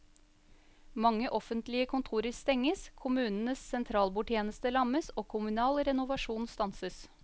Mange offentlige kontorer stenges, kommunens sentralbordtjeneste lammes og kommunal renovasjon stanses.